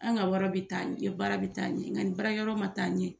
An ka wara bɛ taa ɲɛ baara bɛ taa ye ɲɛ nga ni baarakɛ yɔrɔ ma taa ɲɛ